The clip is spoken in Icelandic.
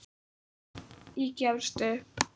Ég gefst upp.